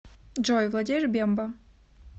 джой владеешь бемба